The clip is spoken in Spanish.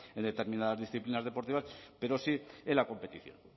en determinadas disciplinas deportivas pero sí en la competición